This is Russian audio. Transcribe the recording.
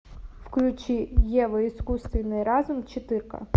включи ева искусственный разум четыре ка